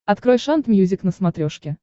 открой шант мьюзик на смотрешке